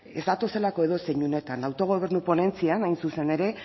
ez datozelako edozein unetan autogobernu ponentzian hain zuzen ere